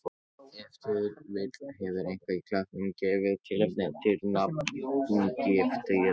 Ef til vill hefur eitthvað í klettunum gefið tilefni til nafngiftarinnar.